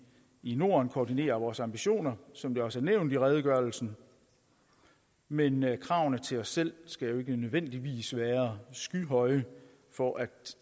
i norden koordinerede vores ambitioner som det også er nævnt i redegørelsen men kravene til os selv skal jo ikke nødvendigvis være skyhøje for at